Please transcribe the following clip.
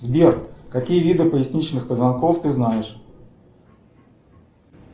сбер какие виды поясничных позвонков ты знаешь